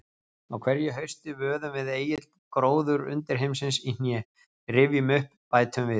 Á hverju hausti vöðum við Egill gróður undirheimsins í hné, rifjum upp, bætum við.